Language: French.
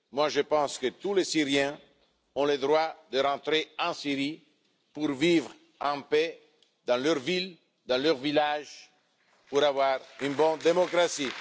Moi, je pense que tous les Syriens ont le droit de rentrer en Syrie pour vivre en paix dans leur ville ou leur village et pour bénéficier d'une bonne démocratie.